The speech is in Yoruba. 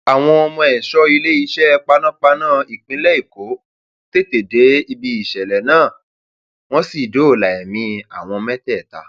àmọ àwọn ẹṣọ iléeṣẹ panápaná tí ìpínlẹ èkó tètè dé síbi ìṣẹlẹ náà wọn sì dóòlà ẹmí àwọn mẹtẹẹta